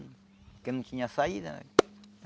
Porque não tinha saída.